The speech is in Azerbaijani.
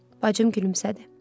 Yox, bacım gülümsədi.